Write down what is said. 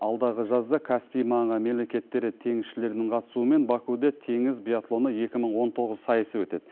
алдағы жазда каспий маңы мемлекеттері теңізшілерінің қатысуымен бакуде теңіз биатлоны екі мың он тоғыз сайысы өтеді